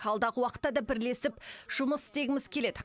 алдағы уақытта да бірлесіп жұмыс істегіміз келеді